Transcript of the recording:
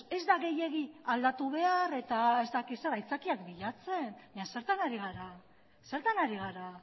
ez da gehiegi aldatu behar eta ez dakit zer aitzakiak bilatzen baina zertan ari gara zertan ari gara